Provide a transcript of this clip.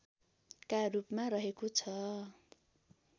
का रूपमा रहेको छ